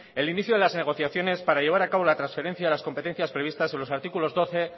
el inicio de las negociaciones para llevar a cabo la transferencia a las competencias previstas en los artículos doce